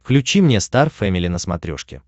включи мне стар фэмили на смотрешке